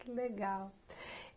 Que legal.